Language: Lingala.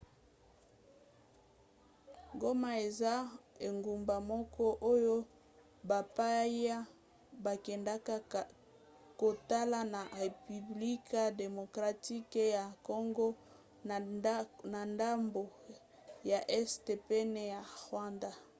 goma eza engumba moko oyo bapaya bakendaka kotala na repiblike demokratike ya congo na ndambo ya este pene ya rwanda